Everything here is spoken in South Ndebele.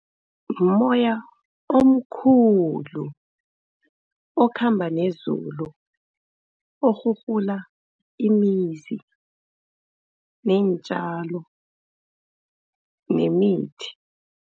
Mumoya omkhulu, okhamba nezulu, orhurhula imizi, neentjalo nemithi.